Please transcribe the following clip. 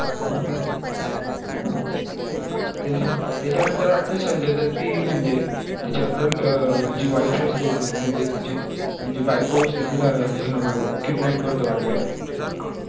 त्याचा नंतर वाटतो संजय दत्त भी म्हणजे त्याची girl अं जी wife असते म्हणजे त्याची बायको असते तीला kidnap करतो वाटतो